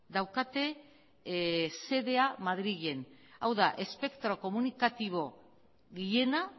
daukate xedea madrilen hau da espektro komunikatibo gehiena